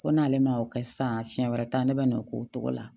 Ko n'ale ma o kɛ sisan siɲɛ wɛrɛ ta ne bɛ na o k'o cogo la